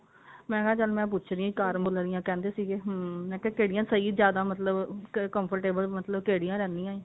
ਮੈਂ ਕਿਹਾ ਚੱਲ ਮੈਂ ਪੁੱਛ ਦੀ ਹਾਂ ਕਰ੍ਮੁਲਾ ਦੀਆਂ ਕਹਿੰਦੇ ਸੀਗੇ hm ਮੈਂ ਕਿਹਾ ਕਿਹੜੀਆਂ ਸਹੀ ਜਿਆਦਾ ਮਤਲਬ comfortable ਮਤਲਬ ਕਿਹੜੀਆਂ ਰਹਿੰਦੀਆਂ